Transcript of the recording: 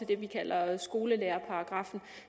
det vi kalder skolelærerparagraffen